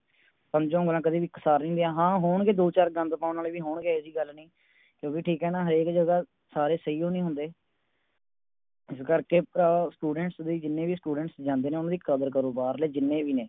ਪੰਜੋ ਉਂਗਲਾਂ ਕਦੇ ਵੀ ਇਕ ਸਾਰ ਨਹੀਂ ਹੁੰਦੀਆਂ ਹਾਂ ਹੋਣਗੇ ਦੋ ਚਾਰ ਗੰਦ ਪਾਉਣ ਵਾਲੇ ਵੀ ਹੋਣਗੇ ਏਹੀ ਜਿਹੀ ਗੱਲ ਨਹੀਂ ਕਿਉਕਿ ਠੀਕ ਆ ਨਾ ਹਰੇਕ ਜਗਾਹ ਸਾਰੇ ਸਹੀਓ ਨਹੀਂ ਹੁੰਦੇ ਇਸ ਕਰਕੇ ਭਰਾਵਾਂ Students ਦੀ ਜਿੰਨੇ ਵੀ Students ਜਾਂਦੇ ਨੇ ਓਹਨਾ ਦੀ ਕਦਰ ਕਰੋ ਬਾਹਰਲੇ ਜਿੰਨੇ ਵੀ ਨੇ